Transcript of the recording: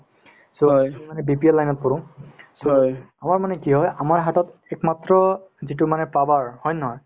so আমি মানে BPL line ত পৰো আমাৰ মানে কি হয় আমাৰ হাতত একমাত্ৰ যিতো মানে power হয় নে নহয়